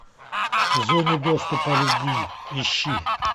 в зоне доступа любви ищи